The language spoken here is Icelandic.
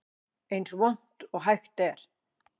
Eins vont og hægt er